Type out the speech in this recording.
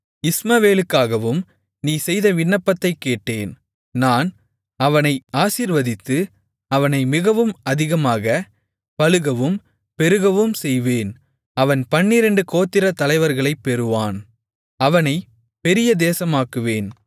இஸ்மவேலுக்காகவும் நீ செய்த விண்ணப்பத்தைக் கேட்டேன் நான் அவனை ஆசீர்வதித்து அவனை மிகவும் அதிகமாகப் பலுகவும் பெருகவும் செய்வேன் அவன் பன்னிரண்டு கோத்திரத் தலைவர்களைப் பெறுவான் அவனைப் பெரிய தேசமாக்குவேன்